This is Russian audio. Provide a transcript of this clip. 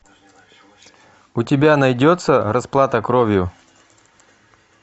у тебя найдется расплата кровью